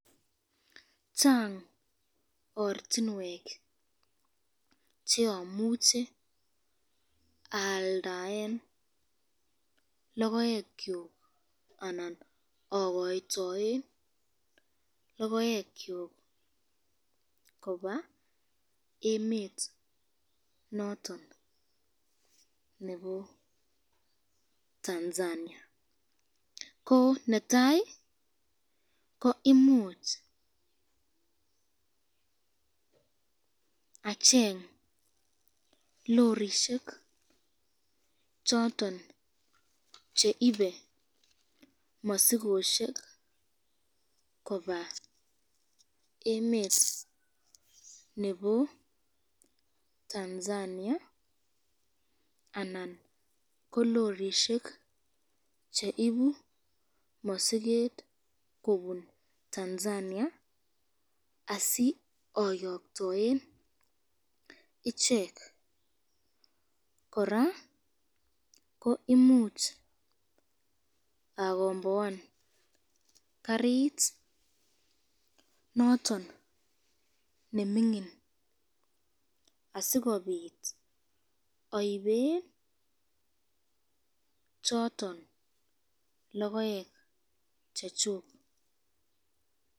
Chang ortinwek cheamuche aaldaen lokoekyuk anan akoytoen lokoekyuk koba emet noton nebo Tanzania, ko netai ko imuch acheng lorishek choton cheibe masikosyek koba emet nebo Tanzania anan ko lorishek cheibu masiket kobun Tanzania, asioyoktoen ichek ,kora ko imuch akomboan karit noton nemingin asikobit aiben choton lokoek chechuk.